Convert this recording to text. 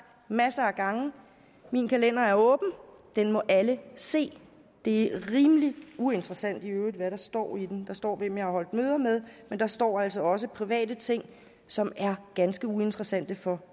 masser af gange at min kalender er åben at den må alle se det er rimelig uinteressant i øvrigt hvad der står i den der står hvem jeg har holdt møder med men der står altså også private ting som er ganske uinteressante for